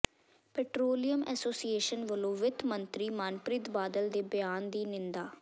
petroleum association ਵੱਲੋਂ ਵਿੱਤ ਮੰਤਰੀ ਮਨਪ੍ਰੀਤ ਬਾਦਲ ਦੇ ਬਿਆਨ ਦੀ ਨਿੰਦਾ